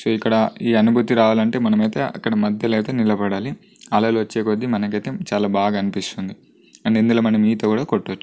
So ఇక్కడ ఈ అనుభూతి రావాలంటే మనమైతే అక్కడ మధ్యలో అయితే నిలబడాలి అలలు వచ్చే కొద్ది మనకైతే చాలా బాగా అనిపిస్తుంది అండ్ ఇందులోమనం ఈత కూడా కొట్టొచ్చు.